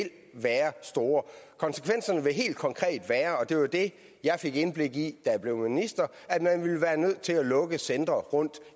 være store konsekvenserne vil helt konkret være og det var jo det jeg fik indblik i da jeg blev minister at man vil være nødt til at lukke centre rundt